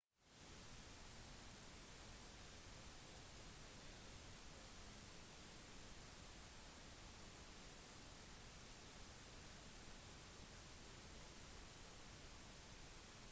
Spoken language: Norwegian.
navnet hans er fortsatt ikke kjent for myndighetene men de vet at han er medlem av den etniske gruppen uighur